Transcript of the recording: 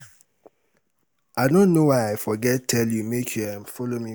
i no know why i forget tell you make you um follow me go